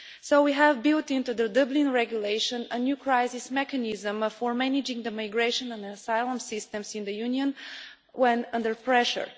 So we have built into the Dublin Regulation a new crisis mechanism for managing the migration and asylum systems in the Union when under pressure.